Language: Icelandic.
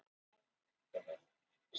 Til allrar lukku voru sárafáir bílar á eynni